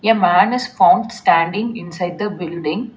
A man is found standing inside the building.